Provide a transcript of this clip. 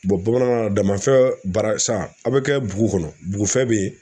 bamananw na damafɛn barasan a bɛ kɛ bugu kɔnɔ bugufɛn bɛ yen